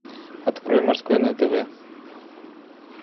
открой морской на тв